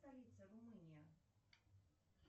столица румыния